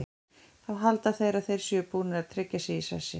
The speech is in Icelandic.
Þá halda þeir að þeir séu búnir að tryggja sig í sessi.